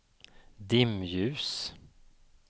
dimljus